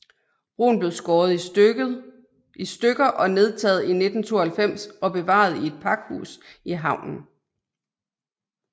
Broen blev skåret i stykket og nedtaget i 1992 og opbevaret i et pakhus i havnen